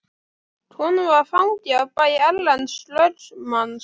Konan var fangi á bæ Erlends lögmanns.